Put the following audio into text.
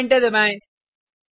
अब एंटर दबाएँ